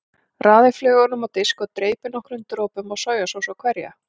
Raðið flögunum á disk og dreypið nokkrum dropum af sojasósu á hverja.